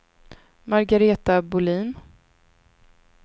Margareta Bohlin